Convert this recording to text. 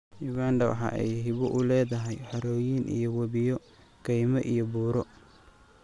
Uganda waxa ay hibo u leedahay harooyin iyo wabiyo, kaymo iyo buuro.